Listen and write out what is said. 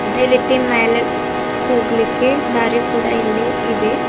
ಅದೇ ರೀತಿ ಮ್ಯಾಲೆ ಹೋಗಲಿಕ್ಕೆ ದಾರಿ ಕೂಡ ಇಲ್ಲಿ ಇದೆ.